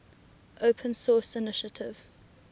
open source initiative